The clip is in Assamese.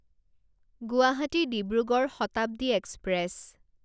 গুৱাহাটী ডিব্ৰুগড় শতাব্দী এক্সপ্ৰেছ